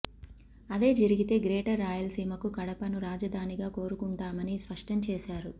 అదే జరిగితే గ్రేటర్ రాయలసీమకు కడపను రాజధానిగా కోరుకుంటామని స్పష్టం చేశారు